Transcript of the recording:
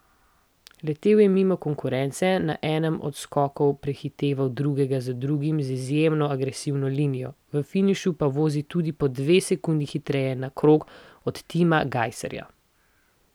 Letel je mimo konkurence, na enem od skokov prehiteval drugega za drugim z izjemno agresivno linijo, v finišu pa vozil tudi po dve sekundi hitreje na krog od Tima Gajserja.